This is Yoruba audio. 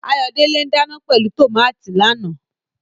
Ayodele ń dana pẹ̀lú tòmátì lánàá.